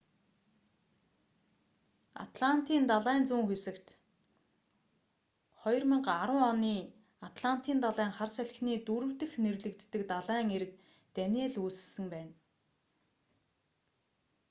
атлантын далайн зүүн хэсэгт 2010 оны атлантын далайн хар салхины дөрөв дэх нэрлэгддэг далайн эрэг даниелл үүссэн байна